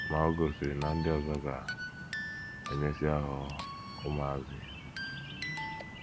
Ma o gosiri na ndị ọzọ ga - emesịa ghọọ ụmụazụ ya.